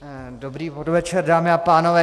Dobrý podvečer, dámy a pánové.